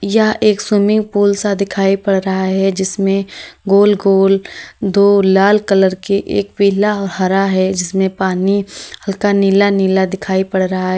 यह एक swimming pool सा दिखाई पड़ रहा है जिसमें गोल गोल दो लाल कलर के एक पीला हरा है इसमें पानी हल्का नीला नीला दिखाई पड़ रहा है।